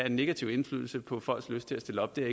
en negativ indflydelse på folks lyst til at stille op det er